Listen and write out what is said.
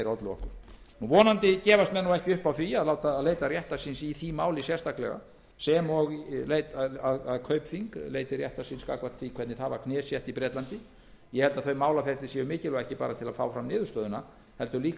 okkur vonandi gefast menn ekki upp á því að leita réttar síns í því máli sérstaklega sem og að kaupþing leiti réttar síns gagnvart því hvernig það var knésett í bretlandi ég held að þau málaferli séu mikilvæg ekki aðeins til að fá fram niðurstöðuna heldur líka